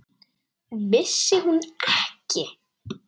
Vissi hún ekki?